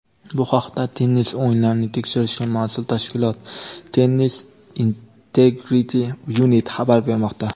Bu haqda tennis o‘yinlarini tekshirishga mas’ul tashkilot "Tennis Integrity Unit" xabar bermoqda.